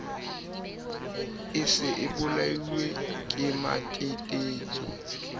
e se e bolailwe kematetetso